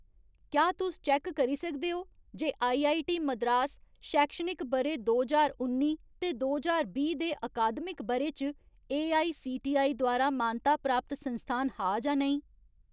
क्या तुस चैक्क करी सकदे ओ जे आईआईटी मद्रास शैक्षणिक ब'रे दो ज्हार उन्नी ते दो ज्हार बीह् दे अकादमिक ब'रे च एआईसीटीई द्वारा मानता प्राप्त संस्थान हा जां नेईं ?